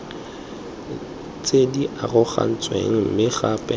tse di arogantsweng mme gape